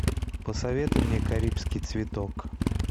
посоветуй мне карибский цветок